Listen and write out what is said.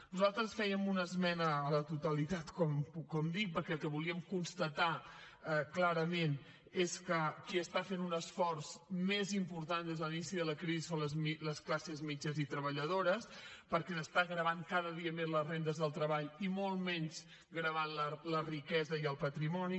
nosaltres fèiem una esmena a la totalitat com dic perquè el que volíem constatar clarament és que qui està fent un esforç més important des de l’inici de la crisi són les classes mitjanes i treballadores perquè s’estan gravant cada dia més les rendes del treball i molt menys gravant la riquesa i el patrimoni